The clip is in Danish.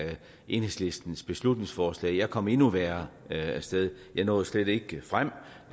enhedslistens beslutningsforslag jeg kom endnu værre af sted jeg nåede slet ikke frem